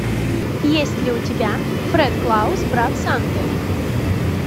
есть ли у тебя фрэд клаус брат санты